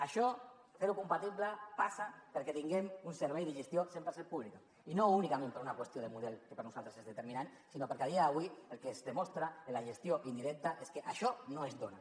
això fer ho compatible passa perquè tinguem un servei de gestió cent per cent pública i no únicament per una qüestió de model que per a nosaltres és determinant sinó perquè a dia d’avui el que es demostra en la gestió indirecta és que això no es dona